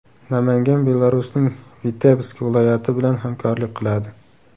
Namangan Belarusning Vitebsk viloyati bilan hamkorlik qiladi.